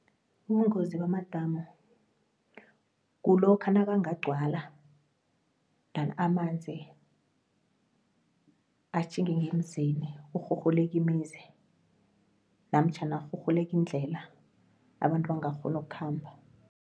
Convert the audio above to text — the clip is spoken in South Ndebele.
Ubungozi bamadamu kulokha nakangagcwala endan amanzi atjhinge ngemanzini kurhurhuleke imizi namtjhana kurhurhuleke indlela, abantu bangakghoni ukukhamba.